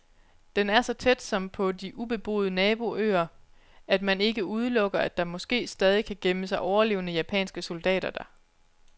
Den er så tæt, som på de ubeboede naboøer, at man ikke udelukker, at der måske stadig kan gemme sig overlevende japanske soldater der.